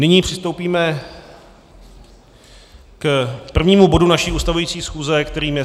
Nyní přistoupíme k prvnímu bodu naší ustavující schůze, kterým je